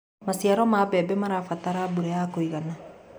Macĩaro ma mbembe marabatara mbũra ya kũĩgana